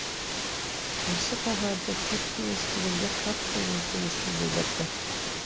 осы хабарды түркия естігенде қатты өкінішін білдірді